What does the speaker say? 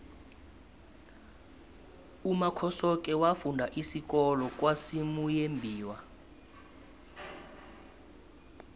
umakhosoke wafunda isikolo kwasimuyembiwa